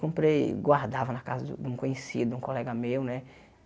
Comprei guardava na casa de de um conhecido, um colega meu né.